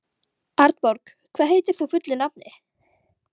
Arnborg, hvað heitir þú fullu nafni?